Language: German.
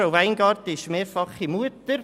Frau Weingart ist mehrfache Mutter.